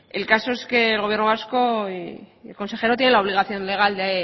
el caso es que el gobierno vasco y el consejero tiene la obligación legal de